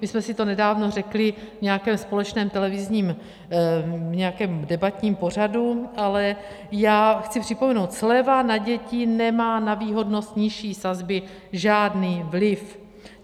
My jsme si to nedávno řekli v nějakém společném televizním debatním pořadu, ale já chci připomenout, sleva na děti nemá na výhodnost nižší sazby žádný vliv.